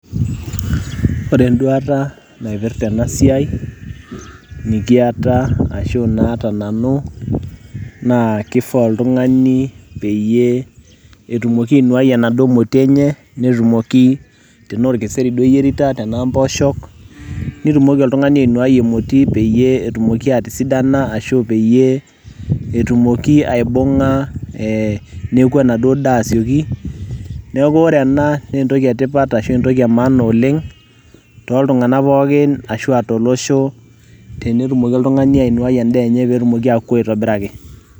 Ore enduaata naipirta tena siai nikiata ashu naata nanu naa kifaa oltung'ani peyie etumoki ainuai enaduo moti enye netumoki tenaa orkeseri duo eyierita tenaa mboosho nitumoki oltung'ani ainuai emoti enye peyie etumoki atisidana ashu peyie etumoki aibung'a ee neuku enaduo daa asioki. Neeku ore ena naa entoki etipat ashu entoki e maana oleng' toltung'anak pookin ashu aa tolosho tenetumoki oltung'ani ainuiai endaa enye peyie etumki atooku aitobiraki.